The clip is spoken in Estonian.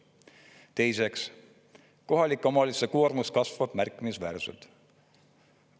Teiseks, kohalike omavalitsuste koormus kasvab märkimisväärselt.